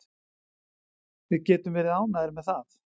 Við getum verið ánægðir með það.